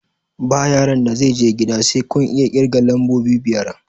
Ba yaron da zai je gida sai kun iya ƙirga lambobi biyar!